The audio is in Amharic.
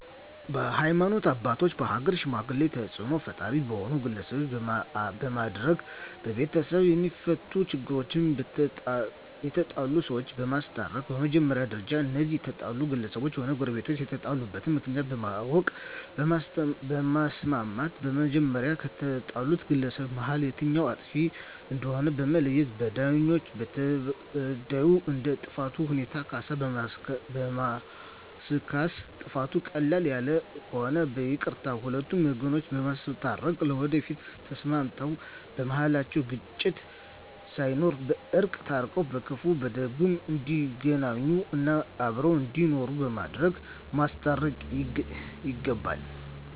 በሀይማኖት አባቶች በሀገር ሽማግሌ ተፅእኖ ፈጣሪ በሆኑ ግለሰቦች በማድረግ በቤተሰብ የማፈቱ ችግሮች የተጣሉ ሰዎችን በማስታረቅ በመጀመሪያ ደረጃ እነዚያ የተጣሉ ግለሰቦችም ሆነ ጎረቤቶች የተጣሉበትን ምክንያት በማወቅ በማስማማት በመጀመሪያ ከተጣሉት ግለሰቦች መሀል የትኛዉ አጥፊ እንደሆነ በመለየት በዳዩ ለተበዳዩ እንደ ጥፋቱ ሁኔታ ካሳ በማስካስ ጥፋቱ ቀለል ያለ ከሆነ በይቅርታ ሁለቱን ወገኖች በማስታረቅ ለወደፊቱ ተስማምተዉ በመሀላቸዉ ግጭት ሳይኖር በእርቅ ታርቀዉ በክፉም በደጉም እንዲገናኙ እና አብረዉ እንዲኖሩ በማድረግ ማስታረቅ ይገባል